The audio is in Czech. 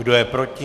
Kdo je proti?